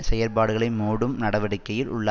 செயற்பாடுகளை மூடும் நடவடிக்கையில் உள்ள